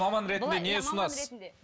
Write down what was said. маман ретінде не ұсынасыз